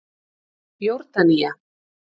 Jórdanía